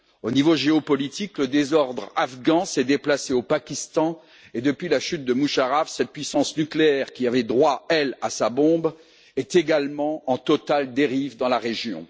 Au niveau géopolitique, le désordre afghan s'est déplacé au Pakistan et, depuis la chute de Musharraf, cette puissance nucléaire, qui avait droit, elle, à sa bombe, est également en totale dérive dans la région.